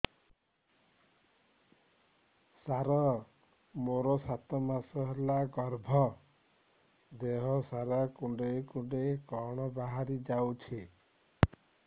ସାର ମୋର ସାତ ମାସ ହେଲା ଗର୍ଭ ଦେହ ସାରା କୁଂଡେଇ କୁଂଡେଇ କଣ ବାହାରି ଯାଉଛି